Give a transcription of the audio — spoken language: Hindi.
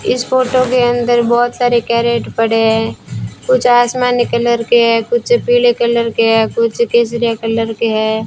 इस फोटो के अंदर बहोत सारे कैरेट पड़े हैं कुछ आसमानी कलर हैं कुछ पीले कलर के हैं कुछ केसरिया कलर के है।